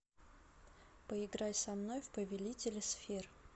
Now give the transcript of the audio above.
поиграй со мной в повелители сфер